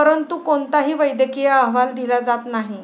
परंतु कोणताही वैद्यकीय अहवाल दिला जात नाही.